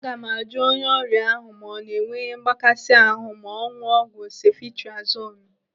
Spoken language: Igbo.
Aga m ajụ onye ọrịa ahụ ma ọ na enwe ihe mgbakasị ahụ ma ọ ṅụọ ọgwụ sefitriazonu.